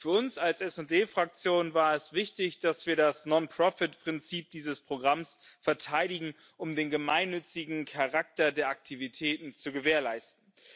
Für uns als SD Fraktion war es wichtig, dass wir das Non Profit Prinzip dieses Programms verteidigen, um den gemeinnützigen Charakter der Aktivitäten zu gewährleisten.